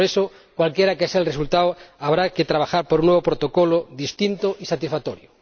Por eso, cualquiera que sea el resultado habrá que trabajar por un nuevo protocolo distinto y satisfactorio.